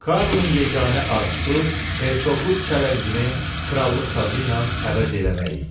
Karlın yeganə arzusu hersoqluq çələngini krallıq tacı ilə əvəz eləmək idi.